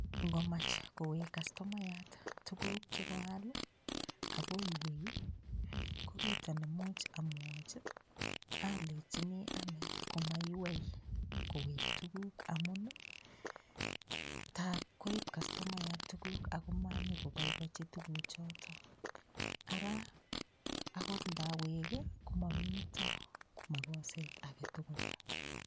Ngomach kowek customayat tukuk che koal ii akoiywei, ko kito ne much amwochi, alechini ane komaiywei kowek tukuk amun, tab koip customayat tukuk ak ko manyo koboiboichi tukuchoto ara akot ndawek ii ko momito makoset age tugul.